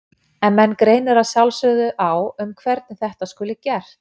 En menn greinir að sjálfsögðu á um hvernig þetta skuli gert.